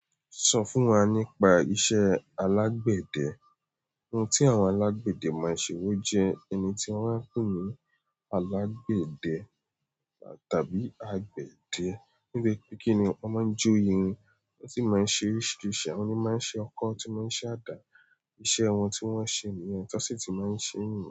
Sọ fún wa nípa iṣẹ́ alágbẹ̀dẹ́. Ohun tí àwọn alágbẹ̀dẹ máa ń ṣe wó jẹ́ ẹni tí wọ́n á pè ní alágbẹ̀dẹ tàbí agbẹ̀dẹ. Nítoripẹ́ kí ni wọ́n máa ń jo irin wọn sì máa ń ṣe oríṣiríṣi àwọn ni máa ń ṣe ọkọ́, tí wọ́n sì máa ń ṣe àdá. Iṣẹ̀ wọn tí wọ́n ṣe niyẹn ti wọ́n sì ti máa ń ṣe nìyen.